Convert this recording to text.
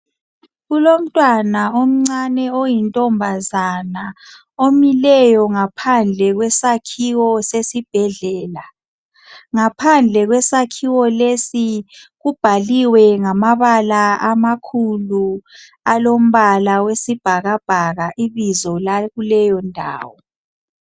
Kulomntwana omncane oyintombazana omileyo ngaphandle kwesakhiwo sesibhedlela. Ngaphandle kwesakhiwo lesi kubhaliwe ngamabala amakhulu alombala wesibhakabhaka ibizo lakuleyondawo.